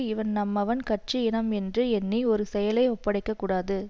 இவன் நம்மவன் கட்சி இனம் என்று எண்ணி ஒரு செயலை ஒப்படைக்கக்கூடாது